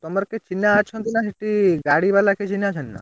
ତମର କେହି ଚିହ୍ନା ଅଛନ୍ତି ନା ସେଠି ଗାଡି ବାଲା କେହି ଚିହ୍ନା ଅଛନ୍ତି ନା?